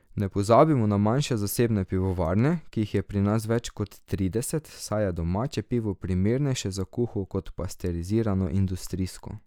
Ne pozabimo na manjše zasebne pivovarne, ki jih je pri nas več kot trideset, saj je domače pivo primernejše za kuho kot pasterizirano industrijsko.